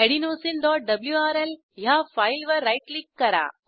adenosineडब्ल्यूआरएल ह्या फाईलवर right click करा